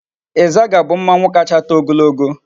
Izaga bu mmanwu kacha too ogologo